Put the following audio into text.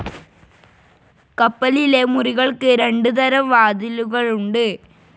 കപ്പലിലെ മുറികൾക്ക് രണ്ട് തരം വാതിലുകളുണ്ട്.